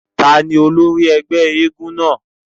Tani ólòri ẹ́gbẹ èègún náa?